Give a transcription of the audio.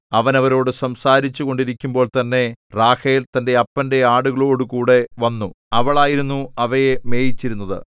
അവൻ അവരോടു സംസാരിച്ചു കൊണ്ടിരിക്കുമ്പോൾതന്നെ റാഹേൽ തന്റെ അപ്പന്റെ ആടുകളോടുകൂടെ വന്നു അവളായിരുന്നു അവയെ മേയിച്ചിരുന്നത്